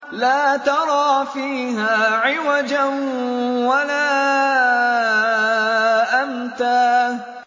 لَّا تَرَىٰ فِيهَا عِوَجًا وَلَا أَمْتًا